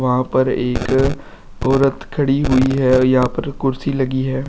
वहां पर एक औरत खड़ी हुई है यहां पर कुर्सी लगी है।